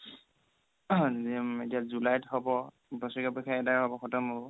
throat july ত হ'ব বছৰীয়া শতম হ'ব